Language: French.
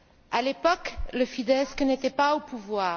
À l'époque, le Fidesz n'était pas au pouvoir.